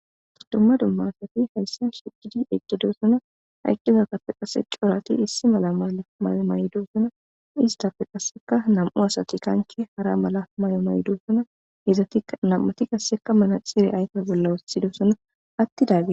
Ta dumma dumma asati hayssan shigidi eqqidosana. Ha eqqizappe qase corati issi mala mala mayo maydoosana. Istappe qasseka nam7u asati kanchchi hara mala may7o maydoosana. hezati nam7ati qasseka manaxire aykoy bolla wossidosona attidaggeti..